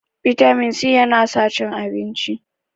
vitamin c yana sa cin abinci